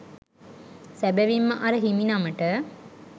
සැබැවින්ම අර හිමිනමට